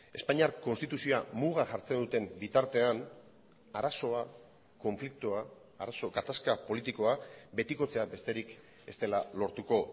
espainiar konstituzioa muga jartzen duten bitartean arazoa konfliktoa gatazka politikoa betikotzea besterik ez dela lortuko